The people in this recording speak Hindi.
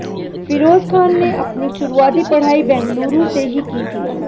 फिरोज खान ने अपनी शुरुआती पढ़ाई बेंगलुरु से ही की थी